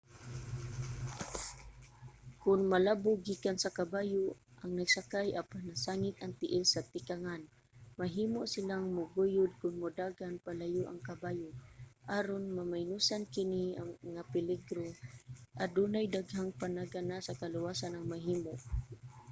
kon malabog gikan sa kabayo ang nagsakay apan nasangit ang tiil sa tikangan mahimo silang maguyod kon modagan palayo ang kabayo. aron maminusan kini nga peligro adunay daghang panagana sa kaluwasan ang mahimo